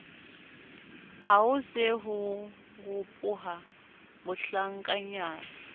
haho se ho ropoha bahlankanyana